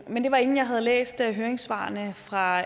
var inden jeg havde læst høringssvarene fra